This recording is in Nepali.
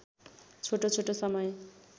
छोटो छोटो समय